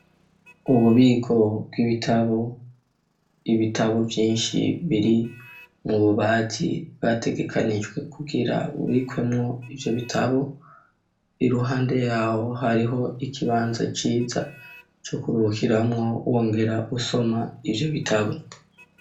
Ububiko bw'ibitabo, ibitabo Vyinshi biri mu bubati bwategekanijwe kugira bubikwemo ivyo bitabo iruhande yawo hariho ikibanza ciza co kurukiramwo wongera usoma ivyo bitabo.